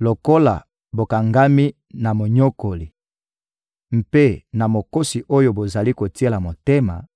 lokola bokangami na monyokoli mpe na mokosi oyo bozali kotiela motema,